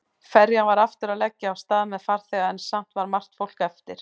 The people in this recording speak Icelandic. Ferjan var aftur að leggja af stað með farþega en samt var margt fólk eftir.